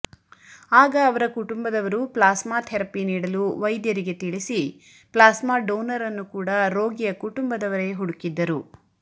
ಆಗ ಅವರ ಕುಟುಂಬದವರು ಪ್ಲಾಸ್ಮಾ ಥೆರಪಿ ನೀಡಲು ವೈದ್ಯರಿಗೆ ತಿಳಿಸಿ ಪ್ಲಾಸ್ಮಾ ಡೋನರ್ ನ್ನು ಕೂಡ ರೋಗಿಯ ಕುಟುಂಬದವರೇ ಹುಡುಕಿದ್ದರು